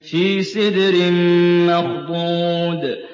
فِي سِدْرٍ مَّخْضُودٍ